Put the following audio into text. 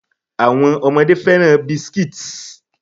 Àwọn ọmọdé fẹ́ràn biscuits.